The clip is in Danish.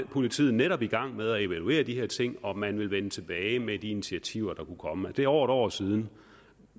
politiet netop i gang med at evaluere de her ting og at man ville vende tilbage med de initiativer der kunne komme det er over et år siden